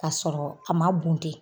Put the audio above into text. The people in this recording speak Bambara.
Ka sɔrɔ a ma bunte.